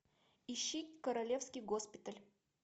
ищи королевский госпиталь